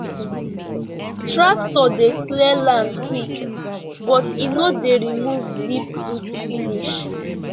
tractor dey clear land quick but e no dey remove deep root finish